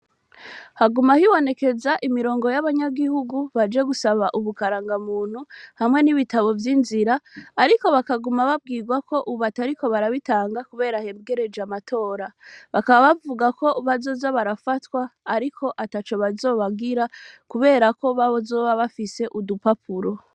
Haguma hibonekeza imirongo y'abanyagihugu baje gusaba ubukaranga muntu hamwe n'ibitabo vy'inzira, ariko bakaguma babwirwa ko ububatariko barabitanga, kubera hebwereje amatora bakaba bavuga ko bazoza barafatwa, ariko ata co bazobagira, kubera ko babozoba bafise udupapura.